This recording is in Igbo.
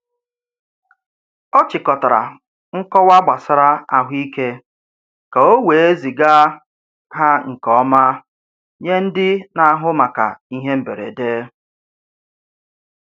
Ọ chịkọtara nkọwa gbasara ahụike ka o wee ziga ha nke ọma nye ndị na-ahụ maka ihe mberede.